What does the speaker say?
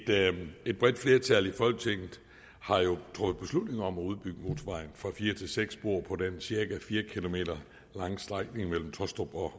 bredt flertal i folketinget har jo truffet beslutning om at udbygge motorvejen fra fire til seks spor på den cirka fire km lange strækning mellem tåstrup og